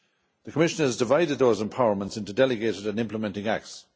The Commission has divided those empowerments into delegated and implementing acts.